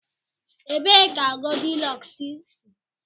Ebee ka Goldilọks si?